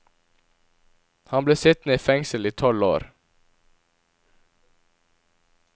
Han ble sittende i fengsel i tolv år.